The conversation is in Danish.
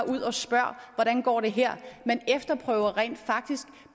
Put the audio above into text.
ud og spørger hvordan går det her man efterprøver rent faktisk